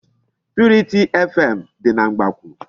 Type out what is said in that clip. Purity FM dị na Mgbakwụ.